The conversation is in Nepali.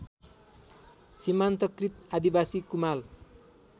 सिमान्तकृत आदिवासी कुमाल